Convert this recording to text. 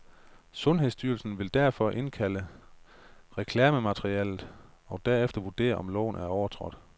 Sundhedsstyrelsen vil derfor indkalde reklamematerialet og derefter vurdere, om loven er overtrådt.